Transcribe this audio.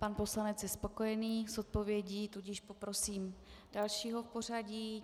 Pan poslanec je spokojený s odpovědí, tudíž poprosím dalšího v pořadí.